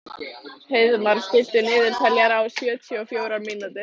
Heiðmar, stilltu niðurteljara á sjötíu og fjórar mínútur.